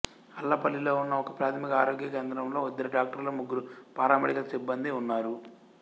అల్లపల్లిలో ఉన్న ఒకప్రాథమిక ఆరోగ్య కేంద్రంలో ఇద్దరు డాక్టర్లు ముగ్గురు పారామెడికల్ సిబ్బందీ ఉన్నారు